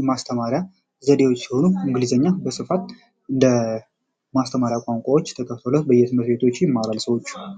የማስተማሪያ ዘዴዎች እንደ ማስተማሪያ ቋንቋዎች ች በየትምህርት ቤት ያስተምራሉ።